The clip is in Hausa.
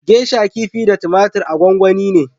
Gesha kifi da tumatir a gwanwani ne